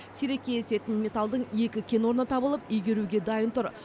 сирек кездесетін металдың екі кен орны табылып игеруге дайын тұр